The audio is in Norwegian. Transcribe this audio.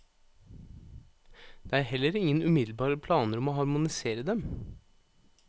Det er heller ingen umiddelbare planer om å harmonisere dem.